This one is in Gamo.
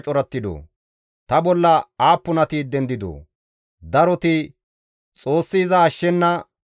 Daroti, «Xoossi iza ashshenna» giidi ta bolla haasayda.